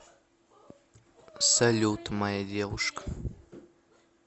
салют моя девушка